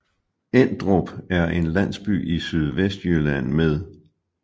Endrup er en landsby i Sydvestjylland med